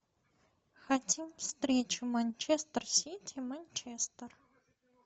хотим встречу манчестер сити манчестер